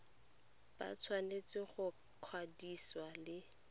ba tshwanetse go ikwadisa le